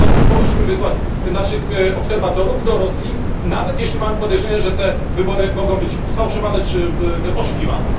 Dlatego uważam, że powinniśmy wysłać naszych obserwatorów do Rosji, nawet jeśli mamy podejrzenie, że te wybory mogą być sfałszowane czy oszukiwane.